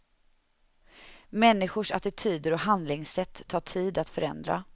Människors attityder och handlingssätt tar tid att förändra.